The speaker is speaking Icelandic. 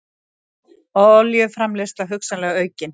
Olíuframleiðsla hugsanlega aukin